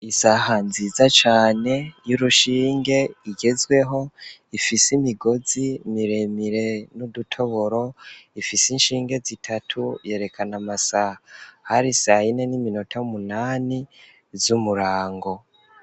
Isaha nziza cane y'urushinge igezweho, ifise imigozi miremire n'udutoboro, ifise inshinge zitatu yerekana amasaha. Hari sayine n'iminota munani, z'umurango.